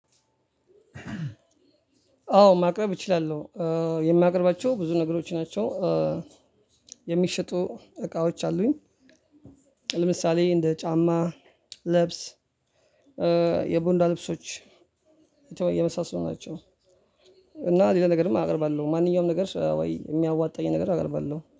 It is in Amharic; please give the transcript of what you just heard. አዎ ማቅረብ እችላለሁ የማቀርባቸው ብዙ ነገሮች ናቸው። የሚሸጡ እቃዎች አሉኝ። ለምሳሌ እንደ ጫማ ልብስ የቦንዳ ልብሶች የመሳሰሉ ናቸው። እና ሌላ ነገርም አቀርባለሁ ማንኛውም ነገር ወይ የሚያዋጣኝን ነገር አቀርባለሁ